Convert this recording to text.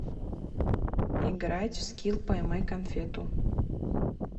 играть в скил поймай конфету